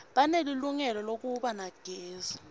banelilungelo lekuba nagezi